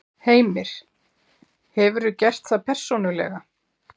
Heimir: Hefurðu gert það persónulega?